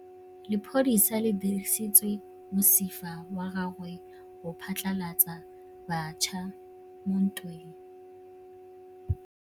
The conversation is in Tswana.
Lepodisa le dirisitse mosifa wa gagwe go phatlalatsa batšha mo ntweng.